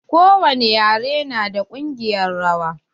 Ko wani ƴare na da kungiƴar rawa.